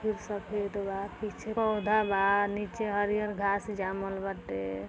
वो सफ़ेद बा पीछे पौधा बा नीचे हरिहर घास जामल बाटे।